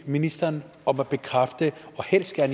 ministeren om at bekræfte og helst med